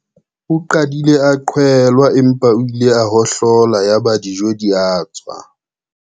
O qadile a qhwelwa empa o ile a hohlola yaba dijo di a tswa.